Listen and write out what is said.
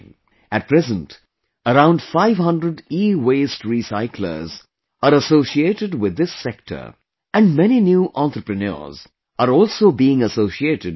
At present, around 500 EWaste Recyclers are associated with this sector and many new entrepreneurs are also being associated with it